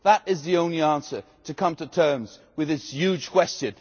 That is the only answer to come to terms with this huge question.